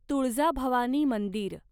तुळजाभवानी मंदिर